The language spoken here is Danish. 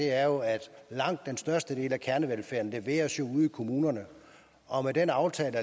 er jo at langt den største del af kernevelfærden leveres ude i kommunerne og med den aftale